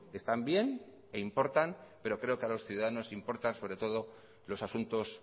están bien e importan pero creo que los ciudadanos importa sobre todo los asuntos